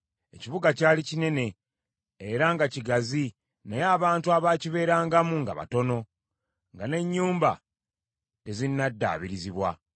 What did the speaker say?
Ekibuga kyali kinene era nga kigazi naye abantu abaakibeerangamu nga batono, nga n’ennyumba tezinnaddaabirizibwa.